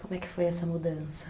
Como é que foi essa mudança?